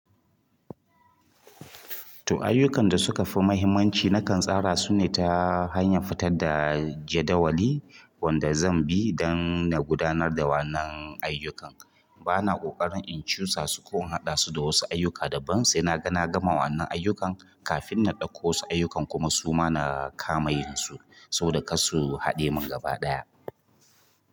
To ayyukan da suka fi mahimmanci na kan tsara su ne ta hanyar fitar da jadawali wanda zan bi dan na gudanar da wannan ayyukan. Bana ƙoƙarin in cusa su ko in haɗa su da wasu ayyuka daban sai na gama wannan ayyukan kafin na ɗauko wasu ayyukan kuma su ma na kama yinsu saboda kar su haɗe min gaba ɗaya.